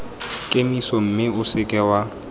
kemiso mme o seke wa